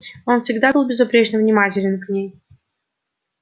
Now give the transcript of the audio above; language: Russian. он всегда был безупречно внимателен к ней